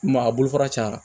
Ma a bolo fara cayara